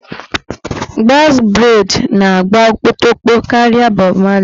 Bọx breid na-agba okpotokpo karịa bọb marli